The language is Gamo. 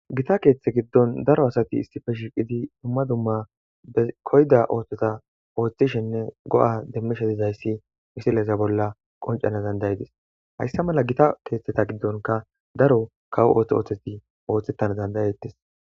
gita keeththe giddon daro asati isipe shiqizi dumma dumma koyda ooththeta ooththishenne go'a demmishe dizayssi misileza bolla qoncana dandayedis hayssa mala gita keeththeta giddonka daro kawo ooththo ooththeti ooththettana dandayettes